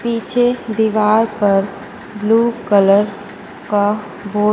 पीछे दीवार पर ब्लू कलर का बोर्ड --